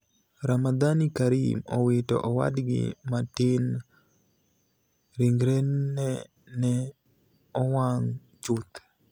Ramadhani Karim owito owadgi matini: ' rinigreni e ni e owanig ' chuth.